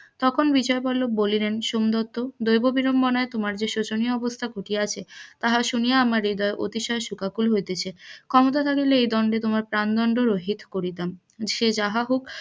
তখন বিজয় বল্লভ বলিলেন সোমদত্ত দৈব বিড়ম্বনায় তোমার জে শোচনীয় অবস্থা ঘটিয়াছে, তাহা শুনিয়া আমার হৃদয় অধিশুয় শোকাকুল হইতাছে ক্ষমতা থাকিলে এই দন্ডে তোমার প্রান দন্ড রহিত করিতাম